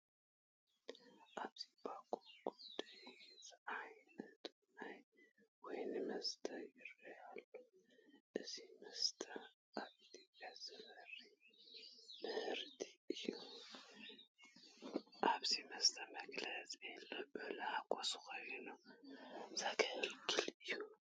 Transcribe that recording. ኣብዚ ባኮ ጉደር ዝዓይነቶም ናይ ወይኒ መስተ ይርአዩ ኣለዉ፡፡ እዚ መስተ ኣብ ኢትዮጵያ ዝፈሪ ምህርቲ እዩ፡፡ እዚ መስተ መግለፂ ልዑል ሓጐስ ኮይኑ ዘግልግል እዩ፡፡